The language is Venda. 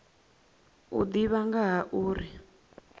u ḓivha nga ha uri